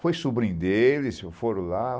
Foi sobrinho deles, foram lá.